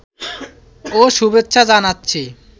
ও শুভেচ্ছা জানাচ্ছি